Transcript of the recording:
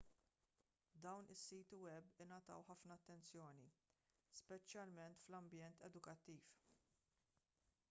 dawn is-siti web ingħataw ħafna attenzjoni speċjalment fl-ambjent edukattiv